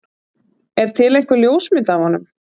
er til einhver ljósmynd af honum